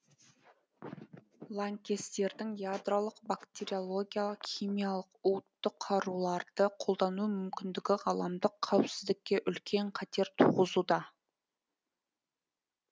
лаңкестердің ядролық бактериологиялық химиялық уытты қаруларды қолдану мүмкіндігі ғаламдық қауіпсіздікке үлкен қатер туғызуда